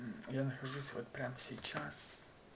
я нахожусь вот прямо сейчас